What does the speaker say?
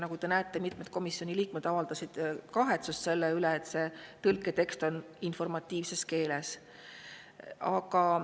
Nagu te näete, siis mitmed komisjoni liikmed avaldasid kahetsust selle üle, et tõlketekst on informatiivne.